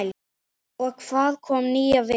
Og kom víða við.